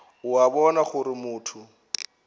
o a bona gore motho